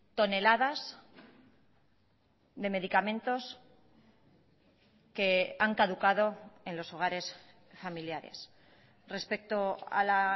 toneladas de medicamentos que han caducado en los hogares familiares respecto a la